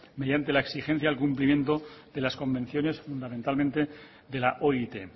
mediante la exigencia del cumplimiento de las convenciones fundamentalmente de la oit